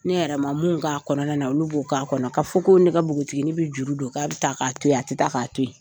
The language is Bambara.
Ne yɛrɛ ma m'u k'a kɔnɔna na olu b'o k'a kɔnɔ. K'a fɔ ko ne ka npogotigini bɛ juru don k'a bɛ taa k'a to yen, a tɛ taa k'a to yen.